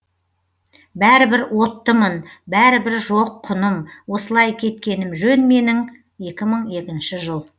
бәрібір оттымын бәрібір жоқ құным осылай кеткенім жөн менің екі мың екінші жыл